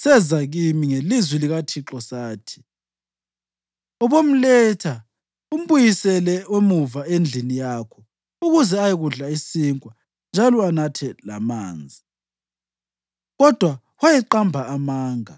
seza kimi ngelizwi likaThixo sathi: ‘Ubomletha umbuyisele emuva endlini yakho ukuze ayekudla isinkwa njalo anathe lamanzi.’ ” (Kodwa wayeqamba amanga.)